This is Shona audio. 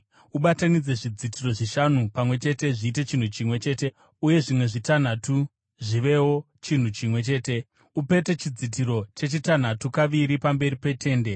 Ubatanidze zvidzitiro zvishanu pamwe chete zviite chinhu chimwe chete uye zvimwe zvitanhatu zvivewo chinhu chimwe chete. Upete chidzitiro chechitanhatu kaviri pamberi petende.